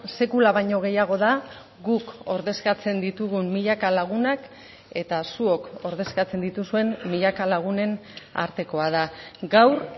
sekula baino gehiago da guk ordezkatzen ditugun milaka lagunak eta zuok ordezkatzen dituzuen milaka lagunen artekoa da gaur